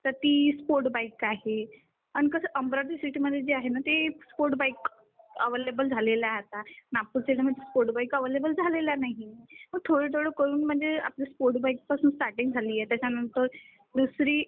तर ती sport bike आहे आणि कसं अमरावती सिटी मध्ये कसं स्पोर्ट्स बाईक अवेलेबल झाल्या आहेत आता. नागपूर सिटी मध्ये स्पोर्ट्स बाईक अवेलेबल झालेल्या नाहीत. मग थोडं थोडं करून म्हणजे स्पोर्ट्स बाईक पासून स्टार्टिंग झालेली आहे त्याच्यानंतर दुसरी